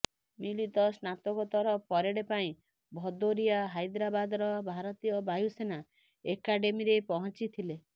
ମିଳିତ ସ୍ନାତକୋତ୍ତର ପରେଡ ପାଇଁ ଭଦୋରିଆ ହାଇଦ୍ରାବାଦର ଭାରତୀୟ ବାୟୁସେନା ଏକାଡେମୀରେ ପହଞ୍ଚିଥିଲେ